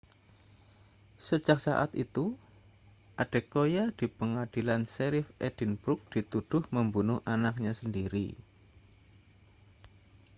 sejak saat itu adekoya di pengadilan sherrif edinburgh dituduh membunuh anaknya sendiri